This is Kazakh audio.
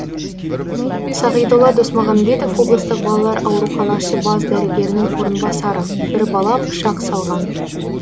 сағидолла досмағанбетов облыстық балалар ауруханасы бас дәрігерінің орынбасары бір бала пышақ салған